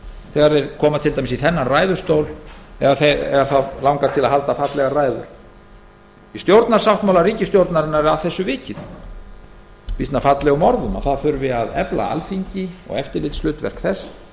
þegar þeir koma til dæmis í þennan ræðustól eða þá langar til að halda fallegar ræður í stjórnarsáttmála ríkisstjórnarinnar er að því vikið með býsna fallegum orðum að efla þurfi alþingi og eftirlitshlutverk þess